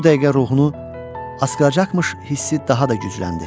Bu dəqiqə ruhunu asqıracaqmış hissi daha da gücləndi.